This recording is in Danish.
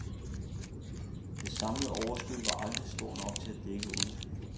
Det samlede overskud var aldrig stort nok til at dække underskuddet.